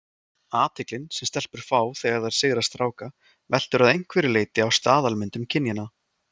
Athyglin sem stelpur fá þegar þær sigra stráka veltur að einhverju leyti á staðalmyndum kynjanna.